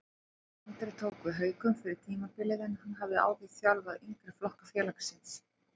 Andri tók við Haukum fyrir tímabilið en hann hafði áður þjálfaði yngri flokka félagsins.